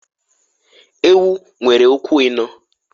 Ewu nwere ụkwụ ịnọọ.